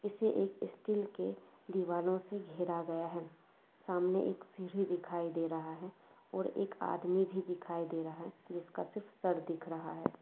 इसे एक ईस्टील के दीवालो से घेरा गया है सामने एक सींडी दिखाई दे रहा है और एक आदमी भी दिखाई दे रहा जिसका सिर्फ सर दिख रहा है।